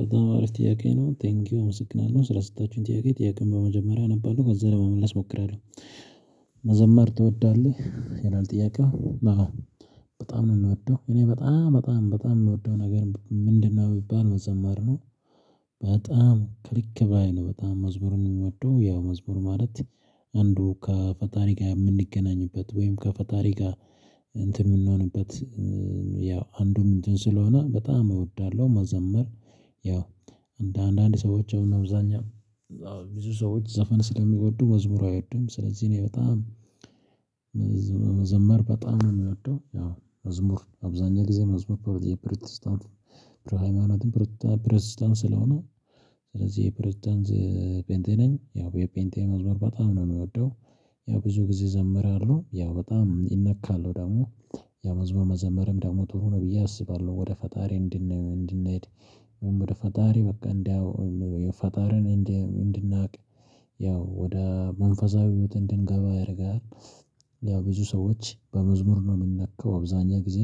በጣም አሪፍ ጥያቄ ነው ቴንኪው አመሰግናለው ስለ ስጣችሁኝ ጥያቄ ጥያቄን በመጀመሪያ እነባለሁ ከዛ ለመመለስ እሞክራለሁ። መዘመር ትወዳለህ ይላል ጥያቄው? በጣም ነው የምወደው እኔ በጣም በጣም በጣም የምወደው ነገር ምንድነው ብባል መዘማር ነው። በጣም ከልክ በላይ ነው በጣም መዝሙርን የምወደው ያው መዝሙር ማለት አንዱ ከፈጣሪ ጋር የምንገናኝበት ወይም ከፈጣሪ ጋር እንትን የምንሆንበት ያው አንዱም እንትን ስለሆነ በጣም እወዳለሁ። መዘመር። ያው አንዳንድ ሰዎችም እና ብዛኛም ብዙ ሰዎች ዘፈን ስለሚወዱ መዝሙር አይወዱም ስለዚህ እኔ በጣም መዘመር በጣም ነው የምወደው። ያው መዝሙር አብዛኛው ጊዜ መዝሙር የፕሮቴስታንት ሃይማኖትን ፕሮቴስታንት ስለሆነ ስለዚህ የፕሮቴስታንት ፕሬዝዳንት ፔንጤ ነኝ። ያው የፔንጤ መዝሙር በጣም ነው የሚወደው። ያው ብዙ ጊዜ እዘመራለሁ ያው በጣም እመካለሁ ደግሞ ያው መዝሙር መዘመርም ደግሞ ጥሩ ነው ብየ አስባለሁ። ወደ ፈጣሪ እንድንሄድ ወደ ፈጣሪ በቃ እንዲያው ፈጣሪን እንድናውቅ ያው ወደ መንፈሳዊ ህይወት እድንገባ ያደርጋል። ያው ብዙ ሰዎች በመዝሙር ነው የሚነኩ አብዛኛውን ጊዜ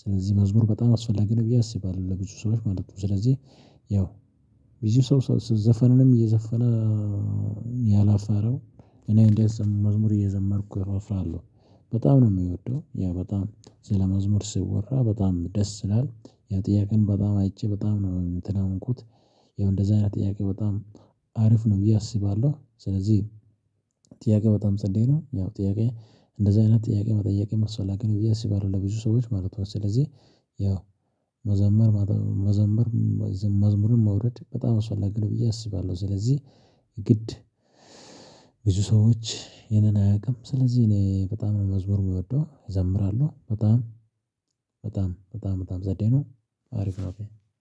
ስለዚህ መዝሙር በጣም አስፈላጊ ነው ብዬ አስባለሁ። ለብዙ ሰዎች ማለት ነው። ስለዚህ ያው ብዙ ሰው ዘፈንንም እየዘፈነ ያላፈረው። እኔ እንዲት መዝሙር እየዘመርኩ እፍራለሁ በጣም ነው የምወደው። ያ በጣም ስለመዝሙር ስወራ በጣም ደስ ይላል። ያ ጥያቄም በጣም አይቼ በጣም ነው እንትን የሆንኩት። ያው እንደዚህ አይነት ጥያቄ በጣም አሪፍ ነው ብዬ አስባለሁ። ስለዚህ ጥያቄ በጣም ጸዴ ነው። ያው ጥያቄ እንደዚህ አይነት ጥያቄ መጠየቅ አስፈላጊ ነው። ብዬ አስባለሁ ለብዙ ሰዎች ማለት ነው። ስለዚህ ያው መዘመር መዘመር መዝሙርን መውረድ በጣም አስፈላጊ ነው። ብዬ አስባለሁ። ስለዚህ ግድ ብዙ ሰዎች ይሄንን አያውቅም ስለዚህ እኔ በጣም መዝሙር የምወደው እዘምራለሁ። በጣም በጣም በጣም በጣም ፀዴ ነው። አሪፍ ነው።